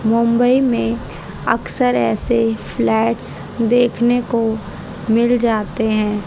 मुंबई में अक्सर ऐसे फ्लैट्स देखने को मिल जाते हैं।